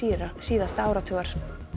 síðasta áratugar